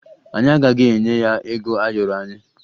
Anyị agaghị enye ya ego ayọrọ anyị